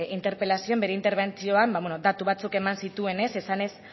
interpelazioan bere interbentzioan datu batzuk eman zituen esanez